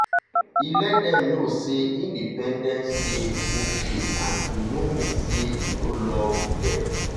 e let dem know say independence dey okay and e no mean say e no love dem.